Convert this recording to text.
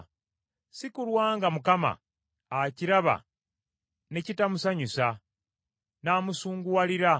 Si kulwa nga Mukama akiraba ne kitamusanyusa, n’amusunguwalira.